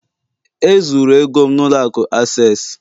E zuru ego m n'ụlọ akụ Access